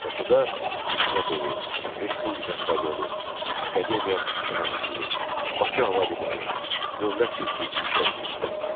Bakıda Hökumət evi, Respublika stadionu, Akademiya şəhərciyi, Bakı hava limanı, Dövlət sirki inşa edildi.